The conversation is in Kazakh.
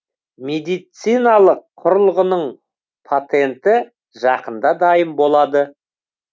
медициналық құрылғының патенті жақында дайын болады